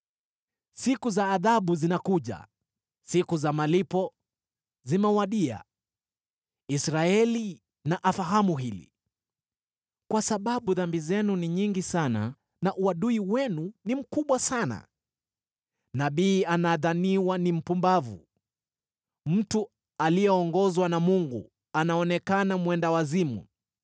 Siku za adhabu zinakuja, siku za malipo zimewadia. Israeli na afahamu hili. Kwa sababu dhambi zenu ni nyingi sana na uadui wenu ni mkubwa sana, nabii anadhaniwa ni mpumbavu, mtu aliyeongozwa na Mungu anaonekana mwendawazimu.